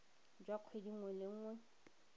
jwa kgwedi nngwe le nngwe